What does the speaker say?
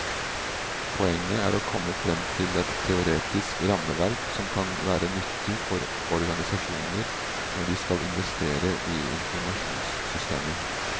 Poenget er å komme frem til et teoretisk rammeverk som kan være nyttig for organisasjoner når de skal investere i informasjonssystemer.